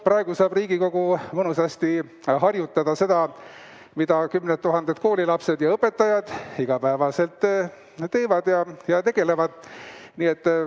Praegu saab Riigikogu mõnusasti harjutada seda, mida kümned tuhanded koolilapsed ja õpetajad iga päev teevad.